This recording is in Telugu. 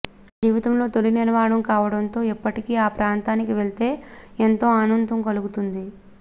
నా జీవితంలో తొలి నిర్మాణం కావడంతో ఇప్పటికీ ఆ ప్రాంతానికి వెళ్తే ఎంతో ఆనందం కలుగుతుంది